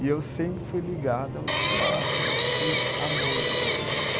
E eu sempre fui ligado ao teatro e à música também.